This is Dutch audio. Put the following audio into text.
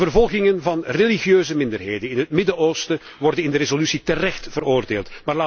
De vervolgingen van religieuze minderheden in het Midden Oosten worden in de resolutie terecht veroordeeld.